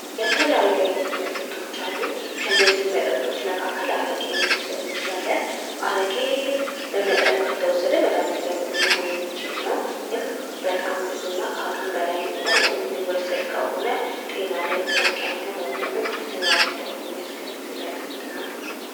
የተለያዩ መጠጦች አሉ። ከነዚህም መጠጦች አንዱ አረቂን መዉሰድ እንችላለን።